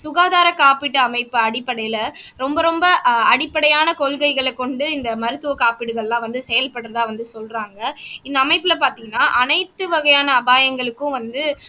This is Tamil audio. சுகாதார காப்பீட்டு அமைப்பு அடிப்படையில ரொம்ப ரொம்ப ஆஹ் அடிப்படையான கொள்கைகளைக் கொண்டு இந்த மருத்துவ காப்பீடுகள் எல்லாம் வந்து செயல்படறதா வந்து சொல்றாங்க இந்த அமைப்புல பாத்தீங்கன்னா அனைத்து வகையான அபாயங்களுக்கும் வந்து